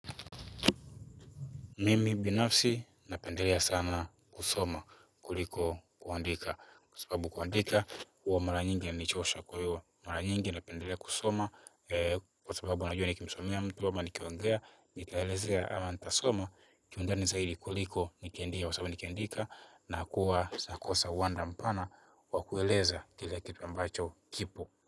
Mimi binafsi napendelea sana kusoma kuliko kuandika kwa sababu kuandika huwa mara nyingi inanichosha kwa hiyo mara nyingi napendelea kusoma kwa sababu wanajua nikimsomea mtu ama nikiongea nitaelezea ama nitasoma kiundani zaidi kuliko nikiandika kwa sababu nikiandika na kuwa nakosa uwanda mpana wakueleza kila kitu ambacho kipo.